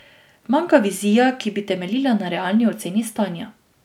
Manjka vizija, ki bi temeljila na realni oceni stanja.